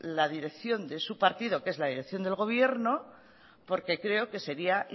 la dirección de su partido que es la dirección del gobierno porque creo que sería